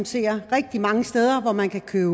ser rigtig mange steder hvor man kan købe